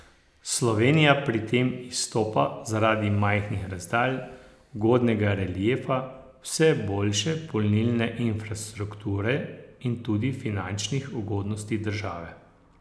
Slovenija pri tem izstopa zaradi majhnih razdalj, ugodnega reliefa, vse boljše polnilne infrastrukture in tudi finančnih ugodnosti države.